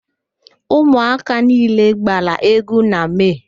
Ụmụaka niile gbara égwú na Mee.